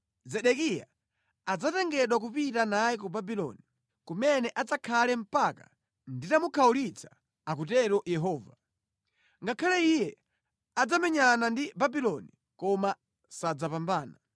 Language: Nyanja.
Zedekiya adzatengedwa kupita naye ku Babuloni, kumene adzakhale mpaka nditamukhawulitsa, akutero Yehova. Ngakhale iye adzamenyane ndi Babuloni, koma sadzapambana.’ ”